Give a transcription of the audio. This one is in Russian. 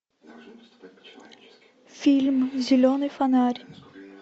фильм зеленый фонарь